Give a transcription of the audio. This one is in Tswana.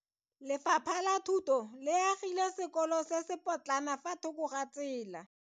Lefapha la Thuto le agile sekolo se se potlana fa thoko ga tsela.